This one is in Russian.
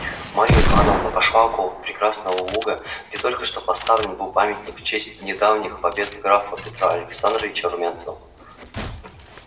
марья ивановна пошла около прекрасного луга где только что поставлен был памятник в честь недавних побед графа петра александровича румянцева